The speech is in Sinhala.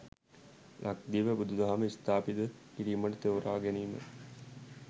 ලක්දිව බුදුදහම ස්ථාපිත කිරීමට තෝරාගැනීම